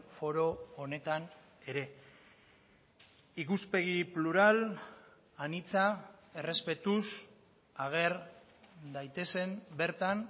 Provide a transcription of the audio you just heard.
foro honetan ere ikuspegi plural anitza errespetuz ager daitezen bertan